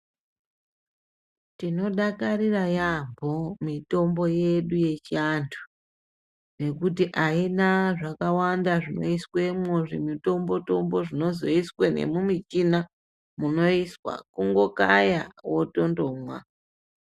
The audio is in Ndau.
Tinodakarira yambho mitombo yedu yechianthu ngekuti aina zvakawanda zvinoiswemwo zvimitombo tombo zvinozoiswa memumichina kundokaya wotondomwa.